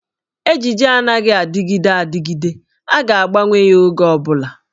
Ejiji anaghị adịgide adịgide, a ga-agbanweli ya oge ọ bụla.